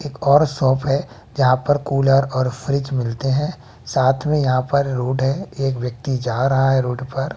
एक और शॉप हैं जहां पर कूलर और फ्रिज मिलते है साथ में यहां पर रोड है एक व्यक्ति जा रहा है रोड पर--